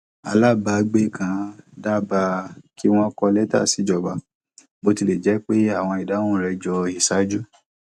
alábàágbe kan dábàá kí wón kọ lẹtà sí ìjọba bó tilẹ jẹ àwọn ìdáhùn rẹ jọ iṣaaju